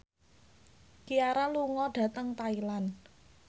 Ciara lunga dhateng Thailand